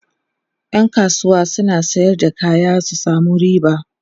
ƴan kasuwa suna Sayar da kaya su samu riba